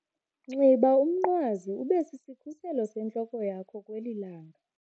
Nxiba umnqwazi ube sisikhuselo sentloko yakho kweli langa.